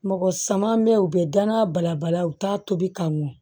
Mɔgɔ saman bɛ yen u bɛ danaya balabala u t'a tobi ka mɔn